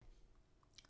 TV 2